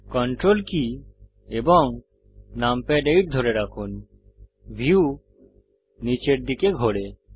ctrl key এবং numpad 8 ধরে রাখুন ভিউ নীচের দিকে ঘোরে